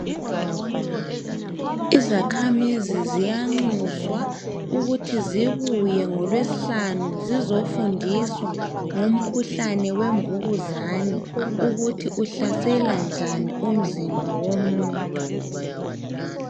Izakhamizi ziyanxuswa ukuthi zibuye ngolwesihlanu zizefundiswa ngomkhuhlane wemvukuzane ukuthi uhlasela njani umzimba womuntu.